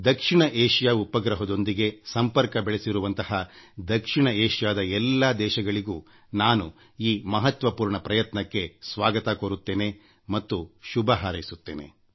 ದಕ್ಷಿಣ Asia ಉಪಗ್ರಹದೊಂದಿಗೆ ಸಂಪರ್ಕ ಬೆಳೆಸಿರುವಂಥ ದಕ್ಷಿಣ ಏಷಿಯಾದ ಎಲ್ಲಾ ದೇಶಗಳಿಗೂ ನಾನು ಈ ಮಹತ್ವಪೂರ್ಣ ಪ್ರಯತ್ನಕ್ಕೆ ಸ್ವಾಗತ ಕೋರುತ್ತೇನೆ ಮತ್ತು ಶುಭ ಹಾರೈಸುತ್ತೇನೆ